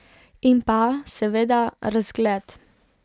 In pa, seveda, razgled.